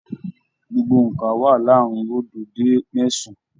Gbogbo óńka wà láàrin oodo dé mẹsan-an.